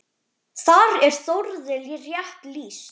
Þar er Þórði rétt lýst.